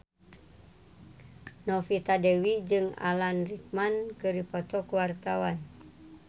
Novita Dewi jeung Alan Rickman keur dipoto ku wartawan